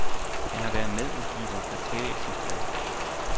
Han har været medudgiver af bevægelsens blad.